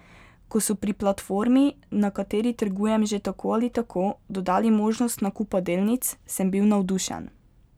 Ko so pri platformi na kateri trgujem že tako ali tako, dodali možnost nakupa delnic, sem bil navdušen.